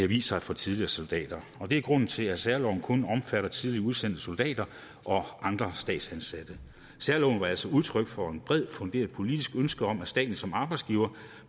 vist sig for tidligere soldater og det er grunden til at særloven kun omfatter tidligere udsendte soldater og andre statsansatte særloven var altså udtryk for et bredt funderet politisk ønske om at staten som arbejdsgiver